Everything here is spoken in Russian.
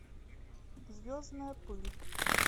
звездная пыль